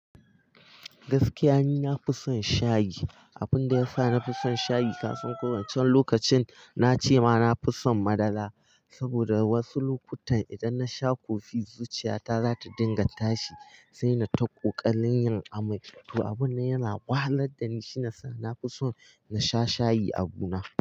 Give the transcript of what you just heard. Gaskiya ni na fi son shayi, abinda ya sa na fi son shayi kasan ko wancen lokacin, na ce ma na fi son madara saboda wasu lokutan idan na sha kofi, zuciyata za ta dinga tashi, sai na ta ƙaƙalin yin amai. To, abun nan yana wahalar da ni shine sa, na fi son na sha shayi abu na.